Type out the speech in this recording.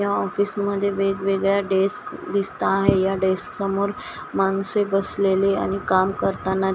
या ऑफिसमध्ये वेगवेगळ्या डेस्क दिसता आहे या डेस्क समोर माणसे बसलेले आणि काम करताना--